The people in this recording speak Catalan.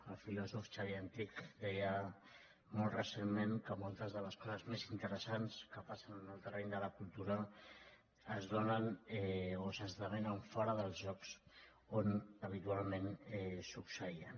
el filòsof xavier antich deia molt recentment que moltes de les coses més interessants que passen en el terreny de la cultura es donen o s’esdevenen fora dels llocs on habitualment succeïen